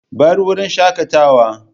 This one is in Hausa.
Bar wurin shakatawa.